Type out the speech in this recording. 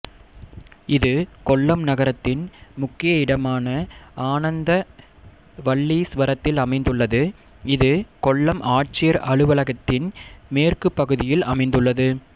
இது கொல்லம் நகரத்தின் முக்கிய இடமான ஆனந்தவல்லீஸ்வரத்தில் அமைந்துள்ளது இது கொல்லம் ஆட்சியர் அலுவலக்த்தின் மேற்குப் பகுதியில் அமைந்துள்ளது